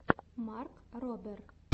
марк робер